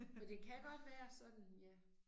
Og det kan godt være sådan ja